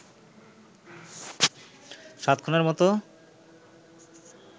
সাত খুনের মতো